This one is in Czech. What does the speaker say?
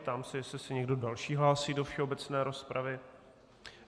Ptám se, jestli se někdo další hlásí do všeobecné rozpravy.